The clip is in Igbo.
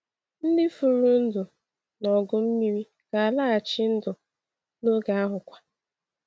Ndị furu ndụ n’ọgụ mmiri ga-alaghachi ndụ n’oge ahụkwa.